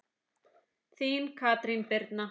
Þín Katrín Birna.